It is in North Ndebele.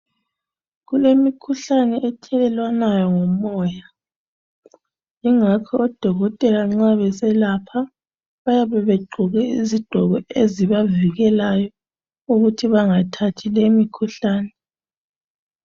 Kulemikhuhlane ethelelwanayo ngomoya ingakho odokotela nxa beselapha bayabe begqoke izigqoko ezibavikelayo ukuthi bangathathi lemikhuhlane.